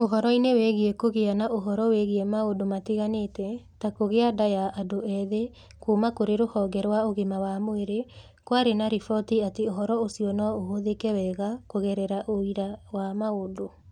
Ũhoro-inĩ wĩgiĩ kũgĩa na ũhoro wĩgiĩ maũndũ matiganĩte ta kũgĩa nda ya andũ ethĩ kuuma kũrĩ Rũhonge rwa Ũgima wa Mwĩrĩ, kwarĩ na riboti atĩ ũhoro ũcio no ũhũthĩke wega kũgerera ũira wa maũndũ.